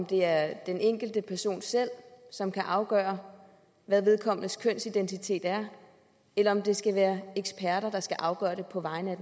det er den enkelte person selv som kan afgøre hvad vedkommendes kønsidentitet er eller om det skal være eksperter der skal afgøre det på vegne